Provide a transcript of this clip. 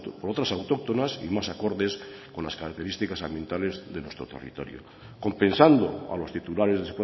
por otros autóctonas y más acordes con las características ambientales de nuestro territorio compensando a los titulares de